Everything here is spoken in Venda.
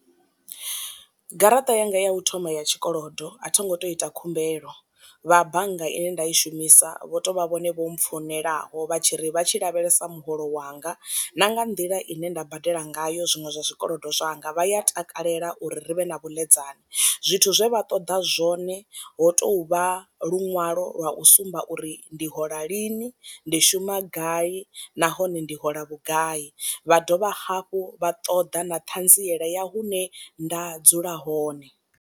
Garaṱa yanga ya u thoma ya tshikolodo a thi ngo to ita khumbelo, vha bannga ine nda i shumisa vho tovha vhone vho mpfonelaho vha tshi ri vha tshi lavhelesa muholo wanga na nga nḓila ine nda badela ngayo zwiṅwe zwa zwi kolodo zwanga vha ya takalela uri ri vhe na vhuḽedzani. Zwithu zwe vha ṱoḓa zwone ho tou vha luṅwalo lwa u sumba uri ndi hola lini ndi shuma gai nahone ndi hola vhugai, vha dovha hafhu vha ṱoḓa na ṱhanziela ya hune nda dzula hone.